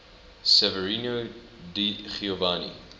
severino di giovanni